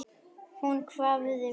Hún hváði við.